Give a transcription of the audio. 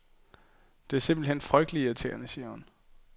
Det er simpelt hen frygtelig irriterende, siger hun.